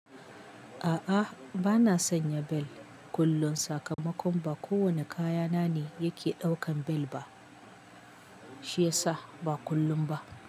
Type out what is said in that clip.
A'a bana sanya bel kullun sakamakon ba kowane kaya na ne yake ɗaukan bel ba shiyasa ba kullum ba.